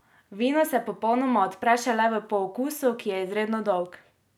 Vino se popolnoma odpre šele v pookusu, ki je izredno dolg.